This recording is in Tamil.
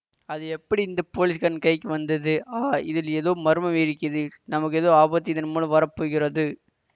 அது எப்படி இந்த போலீஸ்காரன் கைக்கு வந்தது ஆ இதில் ஏதோ மர்மம் இருக்கிது நமக்கு ஏதோ ஆபத்து இதன்மூலம் வர போகிறது